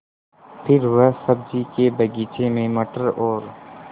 फिर वह सब्ज़ी के बगीचे में मटर और